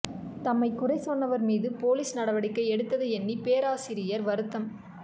தம்மைக் குறை சொன்னவர்மீது போலீஸ் நடவடிக்கை எடுத்ததை எண்ணி பேரரசியார் வருத்தம்